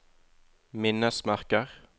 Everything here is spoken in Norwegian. minnesmerker